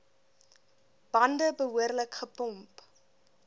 bande behoorlik gepomp